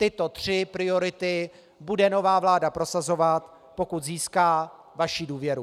Tyto tři priority bude nová vláda prosazovat, pokud získá vaši důvěru.